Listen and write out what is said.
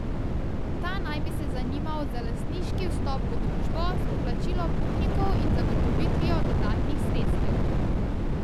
Ta naj bi se zanimal za lastniški vstop v družbo s poplačilom upnikov in zagotovitvijo dodatnih sredstev.